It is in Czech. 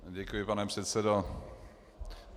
Děkuji, pane předsedo.